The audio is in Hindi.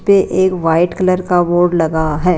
पे एक व्हाइट कलर का बोर्ड लगा है।